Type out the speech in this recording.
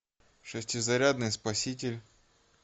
шестизарядный спаситель